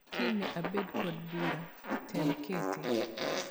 Kiny ne abed kod bura, tem kete.